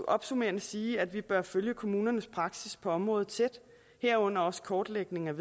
opsummerende sige at vi bør følge kommunernes praksis på området tæt herunder også kortlægningen